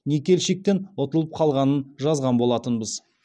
никельщиктен ұтылып қалғанын жазған болатынбыз